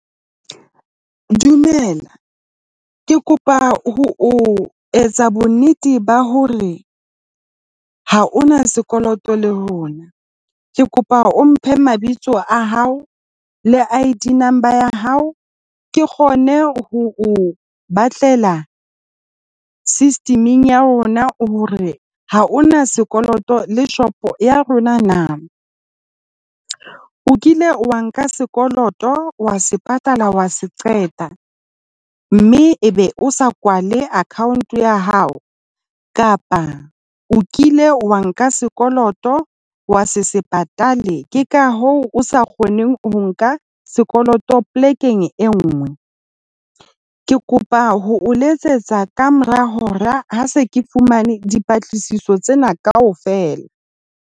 Dumela, ke kopa ho o etsa bonnete ba hore ha o na sekoloto le rona. Ke kopa o mphe mabitso a hao le ID number ya hao ke kgone ho o batlela system-eng ya rona hore ha o na sekoloto le shopo ya rona na. O kile wa nka sekoloto wa se patala, wa se qeta, mme e be o sa kwale account ya hao kapa o kile wa nka sekoloto, wa se se patale ke ka hoo o sa kgoneng ho nka sekoloto polekeng e nngwe? Ke kopa ho o letsetsa ka mora hora ha se ke fumane dipatlisiso tsena kaofela.